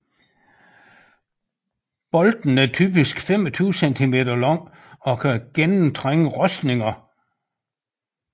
Bolten er typisk 25 cm lang og kan nemt gennemtrænge rustninger